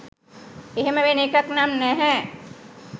එහෙම වෙන එකක් නම් නැහැ.